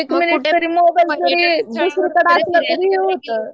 कुठं दुसरीकडं असलं तरी